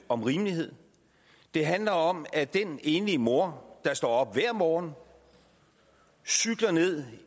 om rimelighed det handler om at den enlige mor der står op hver morgen cykler ned